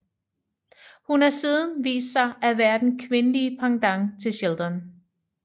Hun har siden vist sig at være den kvindelige pendant til Sheldon